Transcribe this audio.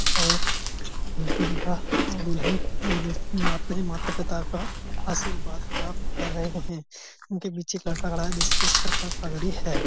और दूल्हा और दुल्हन एक दूसरे के माता पिता का आशीर्वाद प्राप्त कर रहे हैं। इनके पीछे एक लड़का खड़ा जिसके सर पर पगड़ी है।